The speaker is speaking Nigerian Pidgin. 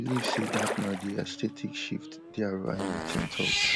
i believe say na about di aesthetic shift dr hamilton tok